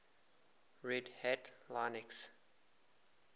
red hat linux